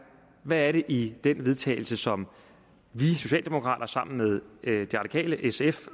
hvad er det i det vedtagelse som vi socialdemokrater sammen med de radikale sf